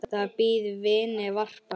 Þar bíða vinir í varpa.